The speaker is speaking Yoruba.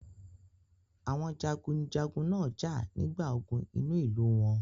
Àwọn jagunjagun náà jà nígbà ogun inú ìlú wọn.